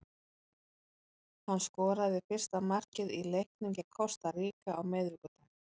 Hann skoraði fyrsta markið í leiknum gegn Kosta Ríka á miðvikudag.